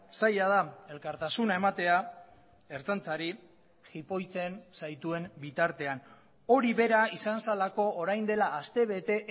zaila da elkartasuna ematea ertzaintzari jipoitzen zaituen bitartean hori bera izan zelako orain dela aste bete